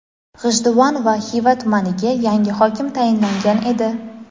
G‘ijduvon va Xiva tumaniga yangi hokim tayinlangan edi.